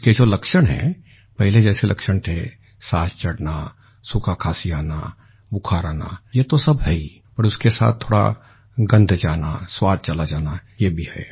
उसके जो लक्षण है पहले जैसे लक्षण थे साँस चढ़ना सूखा खाँसी आना बुखार आना ये तो सब है ही और उसके साथ थोड़ा गंध जाना स्वाद चला जाना ये भी है